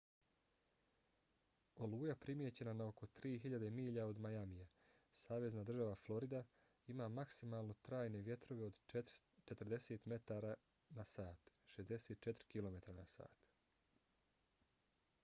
oluja primijećena na oko 3000 milja od miamija savezna država florida ima maksimalno trajne vjetrove od 40 m/h 64 km/h